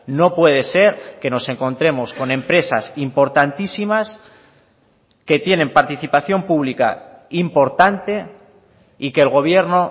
no puede ser que nos encontremos con empresas importantísimas que tienen participación pública importante y que el gobierno